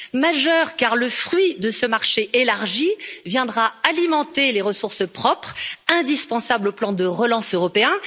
Majeur, car le fruit de ce marché élargi viendra alimenter les ressources propres, indispensables au plan de relance européen.